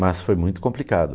Mas foi muito complicado.